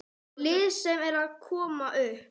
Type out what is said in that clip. Lið sem er að koma upp.